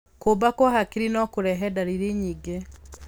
Kuumba kwa hakiri no kũrehe ndariri nyingĩ.